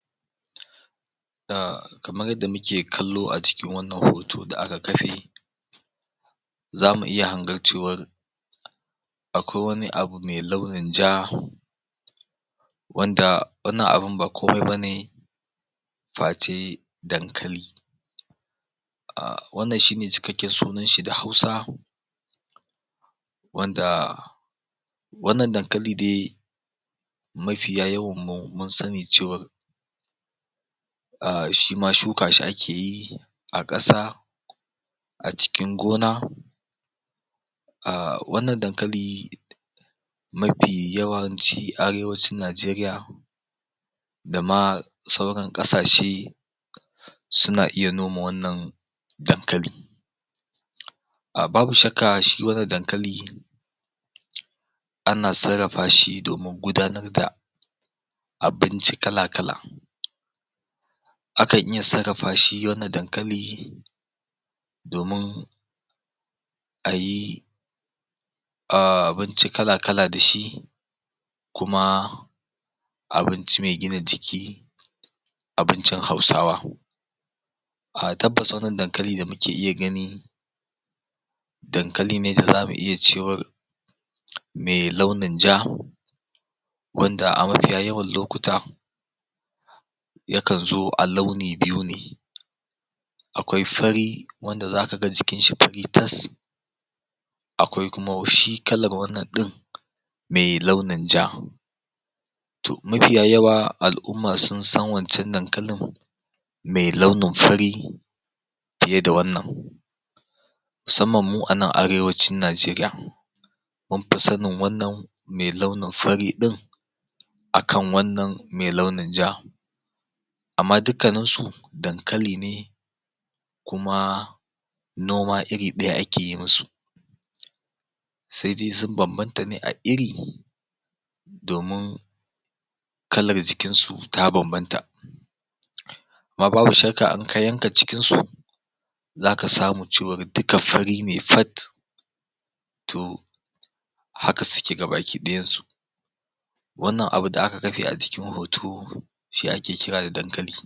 um kamar yadda muke kallo a cikin wannan hoto da aka kafe zamu iya hangar cewar akwai wani abu me launin ja wanda wannan abun ba komai bane face dankali wannan shine cikakken sunan shi da hausa wanda wannan dankali de mafiya yawan mu mun sani cewar um shi ma shuka shi ake yi a ƙasa a cikin gona um wannan dankali ma fi yawanci arewacin Najeriya da ma sauran ƙasashe suna iya noma wannan dankali um babu shakka shi wannan dankali ana sarrafa shi domin gudanar da abinci kala-kala akan iya sarrafi shi wannan dankali domin ayi um abinci kala-kala da shi kuma abinci me gina jiki abincin hausawa um tabbas wannan dankali da muke iya gani dankali ne da zamu iya cewar me launin ja wanda a mafiya yawan lokuta ya kan zo a launi biyu ne akwai fari wanda zaka ga jikin shi fari tas akwai kuma shi kalar wannan ɗin me launin ja to mafiya yawa al'umma sun san wancan dankalin me launin fari fiye da wannan musamman mu a nan arewacin Najeriya mun fi sanin wannan me launin fari ɗin akan wannan me launin ja amma dukkanin su dankali ne kuma noma iri ɗaya akeyi mu su se dai sun banbanta ne a iri domin kalar jikin su ta banbanta amma babu shakka in ka yanka cikin su zaka samu cewar duka fari ne fat to haka suke ga baki ɗayan su wannan abu da aka kafe a cikin hoto shi ake kira da dankali